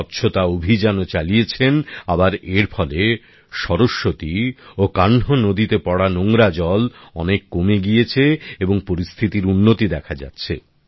স্বচ্ছতা অভিযানও চালিয়েছেন আবার এর ফলে সরস্বতী ও কাহ্ন নদীতে পড়া নোংরা জল অনেক কমে গিয়েছে এবং পরিস্থিতির উন্নতি দেখা যাচ্ছে